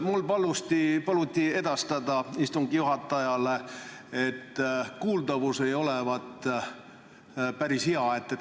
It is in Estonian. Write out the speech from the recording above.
Mul paluti edastada istungi juhatajale, et kuuldavus ei ole päris hea.